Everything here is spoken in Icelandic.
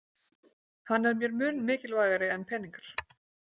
Hann er mér mun mikilvægari en peningar